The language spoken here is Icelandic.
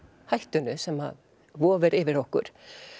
hættunni sem vofir yfir okkur